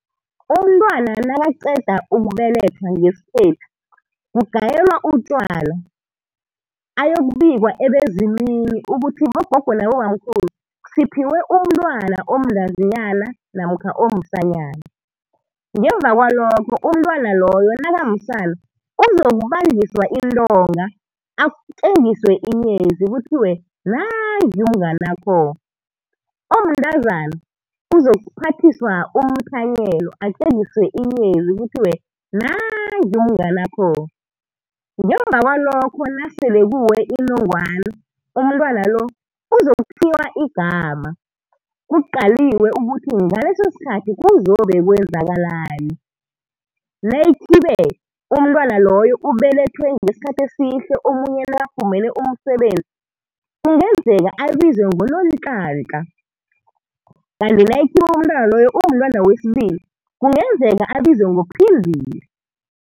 Umntwana nakaqeda ukubelethwa ngesikhethu kugayelwa utjwala, ayokubikwa ebezimini ukuthi bogogo nabobamkhulu siphiwe umntwana omntazinyana namkha omsanyana. Ngemuva kwalokho umntwana loyo nakamsana uzokubanjiswa intonga atjengiswe inyezi kuthiwe nanguya umnganakho, omntazana uzokuphathiswa umthanyelo, atjengiswe inyezi kuthiwe nanguya umnganakho. Ngemuva kwalokho nasele kuwe inongwana umntwana lo uzokuthiywa igama kuqaliwe ukuthi ngaleso isikhathi kuzobe kwenzakalani. Nayikhibe umntwana loyo ubelethwe ngesikhathi esihle omunye nakafumene umsebenzi, kungenzeka abizwe ngoNonhlanhla, kanti nayikhibe umntwana loyo umntwana wesibili, kungenzeka abizwe ngoPhindile.